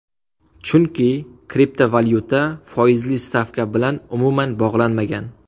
Chunki kriptovalyuta foizli stavka bilan umuman bog‘lanmagan.